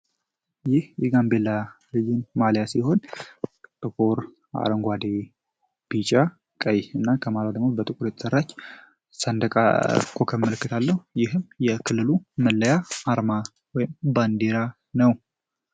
ይህ እጋንብላ ሪጅን ማሊያ ሲሆን ጥፖር አረንጓዴ ቢጫ ቀይ እና ከማሏደሞት በጥቁር የተሠራች ሳንደቃኮከ ምልክትለው ይህም የክልሉ ምለያ አርማ ወይም ባንዴራ ነው፡፡